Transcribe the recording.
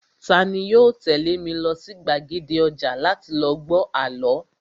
Tani yoo tẹ̀lé mi lọ sí gbàgede ọjà láti lọ gbọ́ àlọ́?